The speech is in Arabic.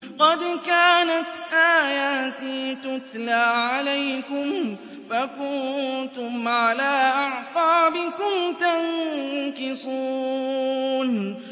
قَدْ كَانَتْ آيَاتِي تُتْلَىٰ عَلَيْكُمْ فَكُنتُمْ عَلَىٰ أَعْقَابِكُمْ تَنكِصُونَ